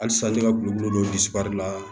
Halisa ne ka gulɔbu la